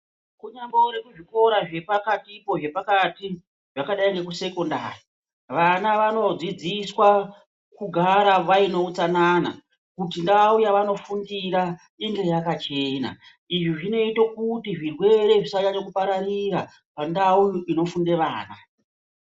Kunyambori kuzvikora zvepatipo zvepakati zvakadai nekusekondari vana vanodzidziswa kugara vaine utsanana kuti ndau yavanofundira inge yakachena izvi zvinoite kuti zvirwere zvisanyanye kupararira pandau inofunde vana.